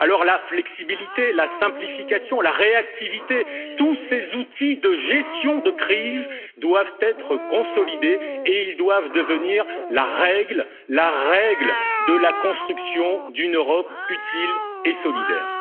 Alors la flexibilité, la simplification, la réactivité, tous ces outils de gestion de crise doivent être consolidés et ils doivent devenir la règle, la règle de la construction d'une Europe utile et solidaire.